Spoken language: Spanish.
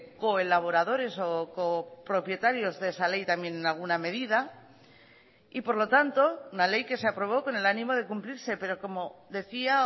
colaboradores o copropietarios de esa ley también en alguna medida y por lo tanto una ley que se aprobó con el ánimo de cumplirse pero como decía